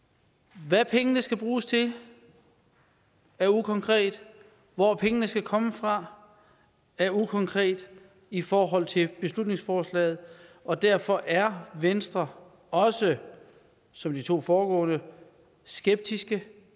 hvad pengene skal bruges til er ukonkret hvor pengene skal komme fra er ukonkret i forhold til beslutningsforslaget og derfor er venstre også som de to foregående skeptiske